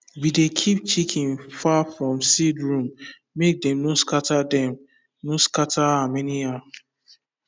we dey keep chicken far from seed room make dem no scatter dem no scatter am anyhow